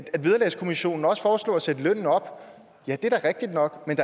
vederlagskommissionen også foreslog at sætte lønnen op ja det er rigtigt nok men